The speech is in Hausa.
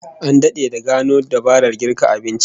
An dade da gano dabarar girka abinci